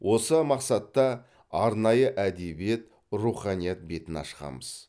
осы мақсатта арнайы әдебиет руханият бетін ашқанбыз